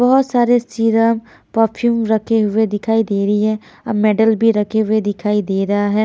बहुत सारे serum perfume रखे हुए दिखाई दे रही है अब मेडल भी रखे हुए दिखाई दे रहा है।